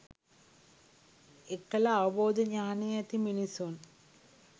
එකල අවබෝධ ඥානය ඇති මිනිසුන්